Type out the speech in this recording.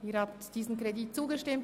Sie haben diesem Kredit zugestimmt.